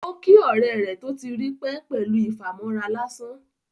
Ó kí ọ̀rẹ́ rẹ̀ tó ti rí tí pẹ́ pẹlú ìfàmọ́ra lásán